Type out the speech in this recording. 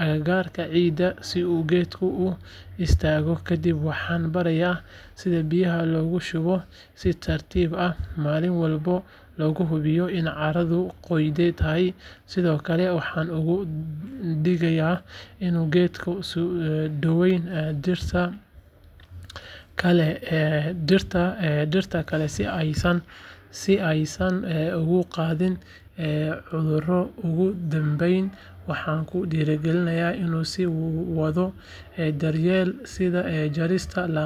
agagaarka xididka si uu geedku u istaago kadib waxaan barayaa sida biyaha loogu shubo si tartiib ah maalin walbana looga hubiyo in carradu qoyan tahay sidoo kale waxaan uga digayaa inuu geedka u dhoweyn dhirta kale si aysan uga qaadin cudurro ugu dambeyn waxaan ku dhiirrigelinayaa inuu sii wado daryeelka sida jarista laamaha dhintay.